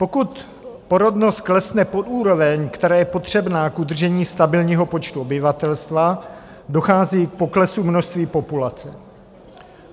Pokud porodnost klesne pod úroveň, která je potřebná k udržení stabilního počtu obyvatelstva, dochází k poklesu množství populace.